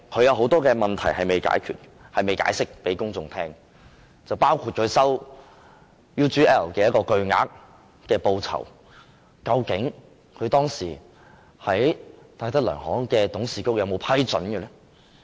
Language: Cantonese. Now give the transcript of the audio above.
有很多問題梁振英仍未向公眾解釋，包括他收受 UGL 的巨額報酬，究竟當時戴德梁行的董事局有否批准？